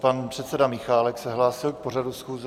Pan předseda Michálek se hlásil k pořadu schůze.